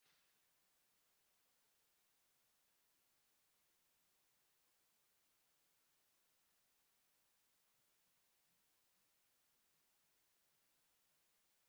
Mgbe ị na-agba ọbara, mariee akwukwo ọlawunjina were pịsa mmiri ya n'ime ọnya ahụ, ọbara ọgbụgba ahụ ga-akwụsị.